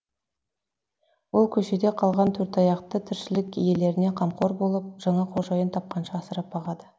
ол көшеде қалған төртаяқты тіршілік иелеріне қамқор болып жаңа қожайын тапқанша асырап бағады